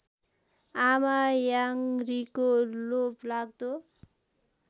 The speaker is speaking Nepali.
आमा याङरीको लोभलाग्दो